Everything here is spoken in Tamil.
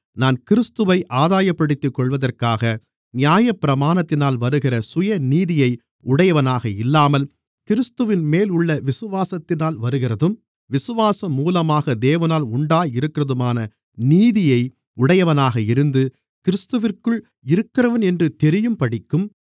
நான் கிறிஸ்துவை ஆதாயப்படுத்திக்கொள்வதற்காக நியாயப்பிரமாணத்தினால் வருகிற சுயநீதியை உடையவனாக இல்லாமல் கிறிஸ்துவின்மேல் உள்ள விசுவாசத்தினால் வருகிறதும் விசுவாசம் மூலமாக தேவனால் உண்டாயிருக்கிறதுமான நீதியை உடையவனாக இருந்து கிறிஸ்துவிற்குள் இருக்கிறவன் என்று தெரியும்படிக்கும்